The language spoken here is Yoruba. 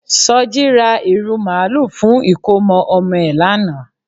Soji ra ìrù màlúù fún ìkómọ ọmọ ẹ̀ lánàá